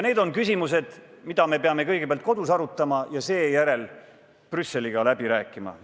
Need on küsimused, mida me peame kõigepealt kodus arutama ja seejärel Brüsseliga läbi rääkima.